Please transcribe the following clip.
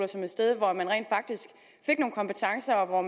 som et sted hvor man rent faktisk fik nogle kompetencer og